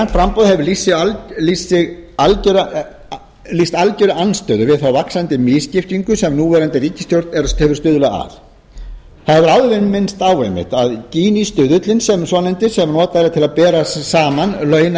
framboð hefur lýst algerri andstöðu við þá vaxandi misskiptingu sem núverandi ríkisstjórn hefur stuðlað að þar er minnst á einmitt að ginistuðullinn svonefndi sem notaður er til að bera saman launa